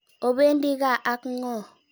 Opendi kaa ak ng'o?